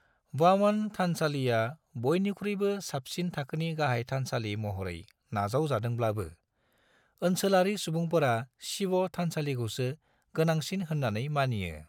वामन थानसालिआ बयनिख्रुइबो साबसिन थाखोनि गाहाय थानसालि महरै नाजाव जादोंब्लाबो, ओनसोलारि सुबुंफोरा शिव थानसालिखौसो गोनांसिन होननानै मानियो।